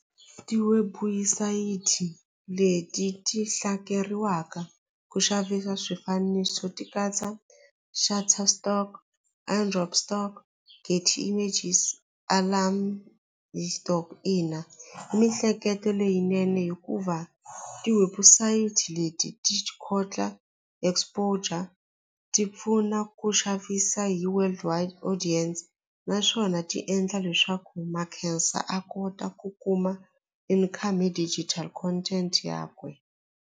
Tiwebusayiti leti ti ku xavisa swifaniso ti katsa Shatter stock, stock, images, alarm hi stock ina mihleketo leyinene hikuva tiwebusayiti leti ti khotla exposure ti pfuna ku xavisa hi world wide audience naswona ti endla leswaku Makhensa a kota ku kuma income hi digital content yakwe.